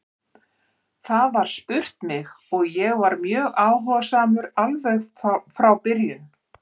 Það var spurt mig og ég var mjög áhugasamur alveg frá byrjun.